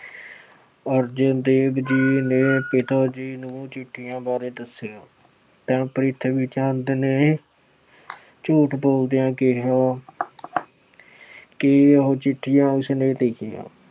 ਅਰਜਨ ਦੇਵ ਜੀ ਨੇ ਪਿਤਾ ਜੀ ਨੂੰ ਚਿੱਠੀਆਂ ਬਾਰੇ ਦੱਸੀਆਂ ਤਾਂ ਪ੍ਰਿਥਵੀ ਚੰਦ ਨੇ ਝੂਠ ਬੋਲਦਿਆਂ ਕਿਹਾ ਕਿ ਉਹ ਚਿੱਠੀਆਂ ਉਸ ਨੇ ਲਿਖੀਆਂ।